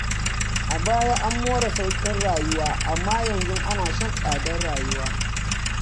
A baya an more sauƙin rayuwa, amma yanzu ana shan tsadar rayuwa.